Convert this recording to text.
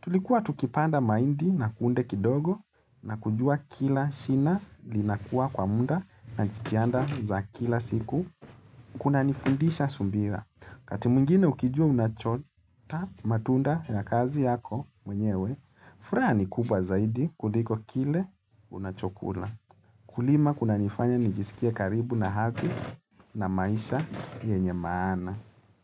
Tulikuwa tukipanda mahindi na kunde kidogo na kujua kila shina linakuwa kwa muda na jitihada za kila siku. Kuna nifundisha subira. Kati mwingine ukijua unachota matunda ya kazi yako mwenyewe, furaha ni kubwa zaidi kuliko kile unachokula. Kulima kunanifanya nijisikia karibu na hadhi na maisha yenye maana.